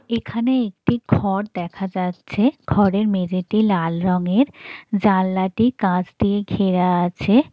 এখানে একটি ঘর দেখা যাচ্ছে ঘরের মেঝেতেই লাল রংয়ের জানালাটি কাঁচ দিয়ে ঘেরা আছে।